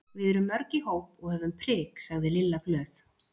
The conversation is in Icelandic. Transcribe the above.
Við erum mörg í hóp og höfum prik sagði Lilla glöð.